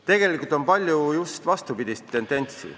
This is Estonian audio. Tegelikult on palju just vastupidist tendentsi ...